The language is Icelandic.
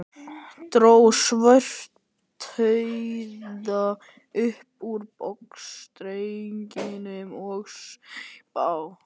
Dró Svartadauða upp úr buxnastrengnum og saup á.